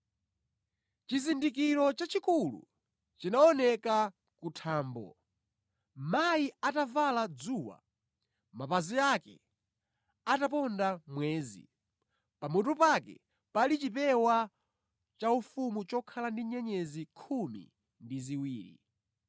Chizindikiro chachikulu chinaoneka kuthambo; mayi atavala dzuwa, mapazi ake ataponda mwezi, pamutu pake pali chipewa chaufumu chokhala ndi nyenyezi khumi ndi ziwiri.